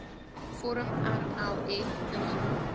vorm rlf ingevul